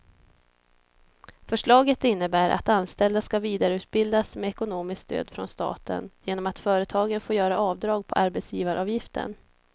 Förslaget innebär att anställda ska vidareutbildas med ekonomiskt stöd från staten genom att företagen får göra avdrag på arbetsgivaravgiften.